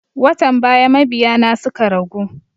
Watan baya mabiya na suka ragu